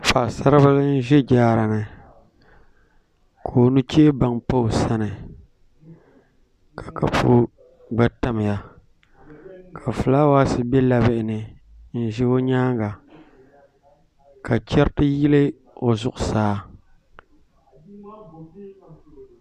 Paɣasaribili n ʒɛ jaara ni ka o nuchɛ baŋ pa o sani ka kapu gba tamya ka fulaawaasi bɛ labilini n ʒi o nyaanga ka chɛriti yili o zuɣusaa